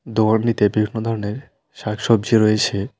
দোয়ারনিতে বিভিন্ন ধরনের শাকসবজি রয়েছে।